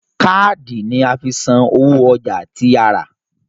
Káàdì ni a fi san owó ọjà tí a rà